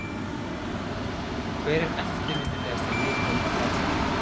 Hver er eftirminnilegasti leikurinn á ferlinum?